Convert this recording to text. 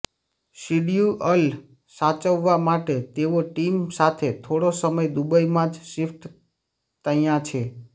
schedule સાચવવા માટે તેઓ ટીમ સાથે થોડો સમય દુબઈમાં જ શિફ્ટ તયાં છે